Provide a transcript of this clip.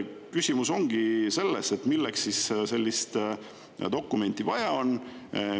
Küsimus ongi selles, milleks siis sellist dokumenti vaja on.